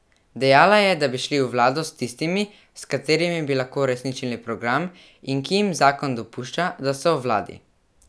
Dejala je, da bi šli v vlado s tistimi, s katerimi bi lahko uresničili program in ki jim zakon dopušča, da so v vladi.